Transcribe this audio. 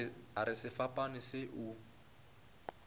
a re sefapano se o